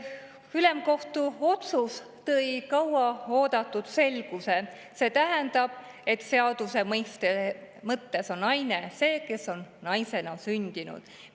Ülemkohtu otsus tõi kaua oodatud selguse, see tähendab, et seaduse mõttes on naine see, kes on naisena sündinud.